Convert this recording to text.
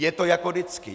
Je to jako vždycky.